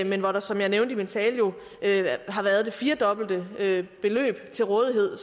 men hvor der som jeg nævnte i min tale har været det firedobbelte beløb til rådighed